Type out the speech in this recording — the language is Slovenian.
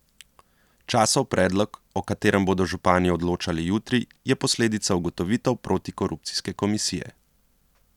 Časov predlog, o katerem bodo župani odločali jutri, je posledica ugotovitev protikorupcijske komisije.